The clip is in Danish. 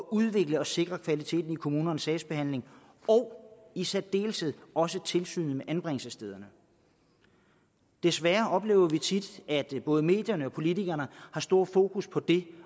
udvikle og sikre kvaliteten i kommunernes sagsbehandling og i særdeleshed også i tilsyn med anbringelsesstederne desværre oplever vi tit at både medierne og politikerne har stort fokus på det